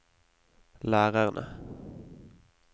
lærerne